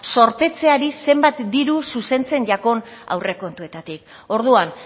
zorpetzeari zenbat diru zuzentzen jakon aurrekontuetatik orduan